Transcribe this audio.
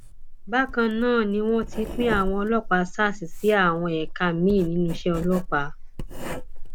bákan náà ni wọn ti pín àwọn ọlọpàá sars sí àwọn ẹka miín nínú iṣẹ ọlọpàá